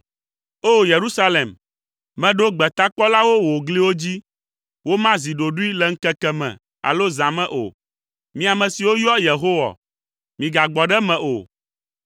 O! Yerusalem, meɖo gbetakpɔlawo wò gliwo dzi. Womazi ɖoɖoe le ŋkeke me alo zã me o. Mi ame siwo yɔa Yehowa, migagbɔ ɖe eme o,